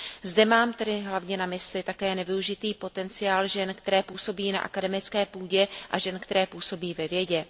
Zde mám tedy hlavně na mysli také nevyužitý potenciál žen, které působí na akademické půdě, a žen, které působí ve vědě.